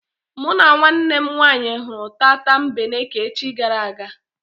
Mụ na nwanne m nwaanyị hụrụ tatambeneke echi gara aga.